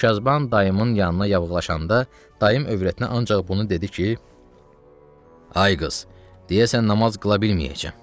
Tükyazban dayımın yanına yaqınlaşanda, dayım övrətinə ancaq bunu dedi ki, Ay qız, deyəsən namaz qıla bilməyəcəm.